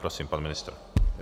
Prosím, pan ministr.